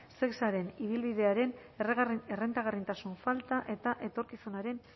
shesaren ibilbidearen errentagarritasun falta eta etorkizunaren